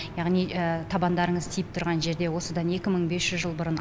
яғни табандарыңыз тиіп тұрған жерде осыдан екі мың бес жүз жыл бұрын